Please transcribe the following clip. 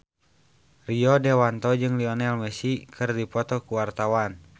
Rio Dewanto jeung Lionel Messi keur dipoto ku wartawan